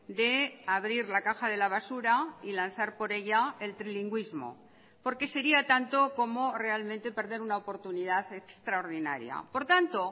de abrir la caja de la basura y lanzar por ella el trilingüismo porque sería tanto como realmente perder una oportunidad extraordinaria por tanto